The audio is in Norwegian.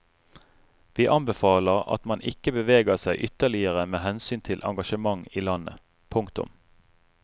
Vi anbefaler at man ikke beveger seg ytterligere med hensyn til engasjement i landet. punktum